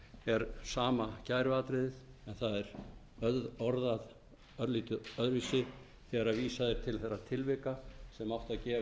er sama kæruatriðið en það er orðað örlítið öðruvísi þegar vísað er til þeirra tilvika sem átti að